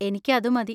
എനിക്കതുമതി.